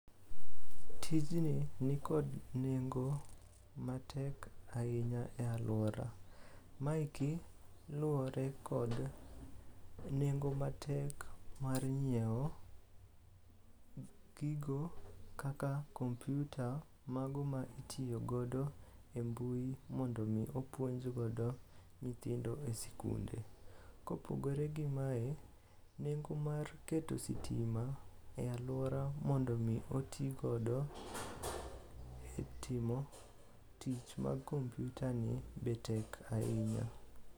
Tijni nikod nengo matek ahinya e alwora. Maeki luwore kod nengo matek mar nyieo gigo kaka kompiuta mago ma itiyogodo e mbui mondo omi opuonjgodo nyithindo e sikunde. Kopogore gi mae, nengo mar keto sitima e alwora mondo omi otigodo e timo tich mag kompiutani be tek ahinya.